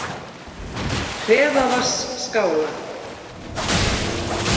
Hreðavatnsskála